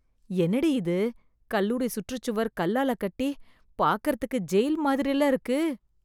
என்னடி இது, கல்லூரி சுற்றுச் சுவர் கல்லால கட்டி, பாக்கறதுக்கு ஜெயில் மாதிரில்ல இருக்கு...